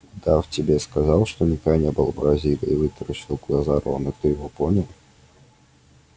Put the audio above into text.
удав тебе сказал что никогда не был в бразилии вытаращил глаза рон и ты его понял